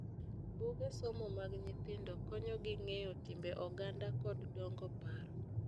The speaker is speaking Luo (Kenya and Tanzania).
Buge somo mag nyithindo konyo gi ng'eyo timbe oganda kod dongo paro.